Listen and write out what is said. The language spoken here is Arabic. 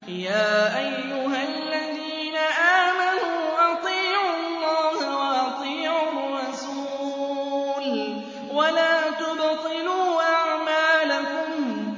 ۞ يَا أَيُّهَا الَّذِينَ آمَنُوا أَطِيعُوا اللَّهَ وَأَطِيعُوا الرَّسُولَ وَلَا تُبْطِلُوا أَعْمَالَكُمْ